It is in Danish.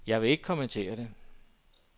Jeg vil ikke kommentere det.